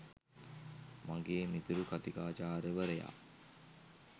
මගේ මිතුරු කථිකාචාර්යවරයා